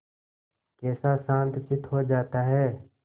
कैसा शांतचित्त हो जाता है